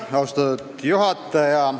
Austatud juhataja!